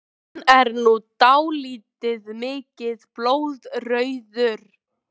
Hann er nú dálítið mikið blóðrauður!